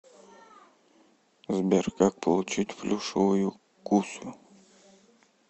сбер как получить плюшевую кусю